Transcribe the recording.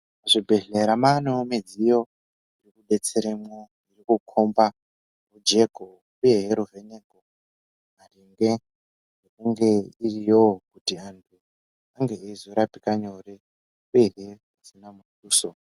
Muzvibhedhlera maanewo midziyo yekudetseramwo nekukhomba rujeko uyehe ruvheneko maringe nekunge iriyowo kuti antu ange eizorapikeaore uyehe dzisina muduso.